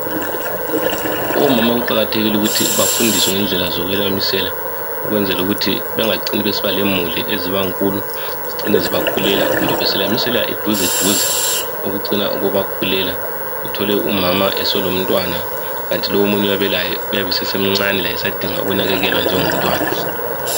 Omama kuqakathekile ukuthi bafundiswe ngendlela zokwelamisela ukwenzela ukuthi bengacini besiba lemuli ezibankulu zicine zibakhulela kumbe beselamisela eduze duze okucina kubakhulela uthole umama eselomntwana kathi lowu omunye oyabe elaye esasemncane laye esadinga ukunakekelwa njengomntwana.